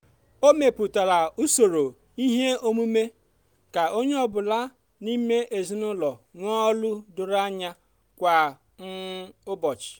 o mepụtara usoro ihe omume ka onye ọ bụla n'ime ezinụlọ nwee ọlụ doro anya kwa um ụbọchị.